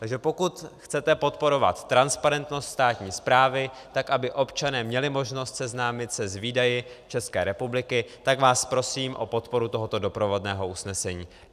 Takže pokud chcete podporovat transparentnost státní správy tak, aby občané měli možnost seznámit se s výdaji České republiky, tak vás prosím o podporu tohoto doprovodného usnesení.